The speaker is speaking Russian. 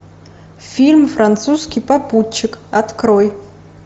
фильм французский попутчик открой